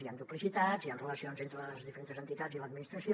hi han duplicitats hi han relacions entre les diferents entitats i l’administració